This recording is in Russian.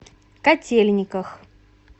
котельниках